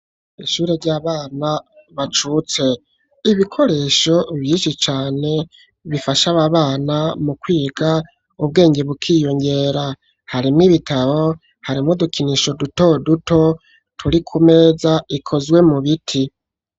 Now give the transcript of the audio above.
Ishure ry'abana bacutse, ibikoresho vyinshi cane bifasha aba bana mu kwiga ubwenge bukiyongera. Harimwo ibitabo, harimwo udukinisho duto duto turi ku meza ikozwe mu biti.